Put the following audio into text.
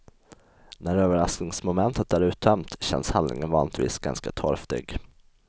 När överraskningsmomentet är uttömt känns handlingen vanligtvis ganska torftig.